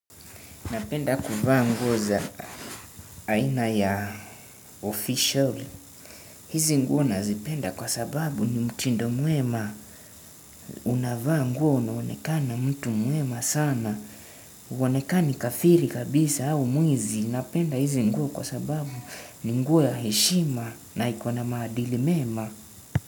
Napenda kuvaa nguo za aina ya official. Hizi nguo nazipenda kwa sababu ni mtindo mwema. Unavaa nguo una onekana mtu mwema sana. Onekani kafiri kabisa au mwizi. Napenda hizi nguo kwa sababu ni nguo ya heshima na iko na maadili mema.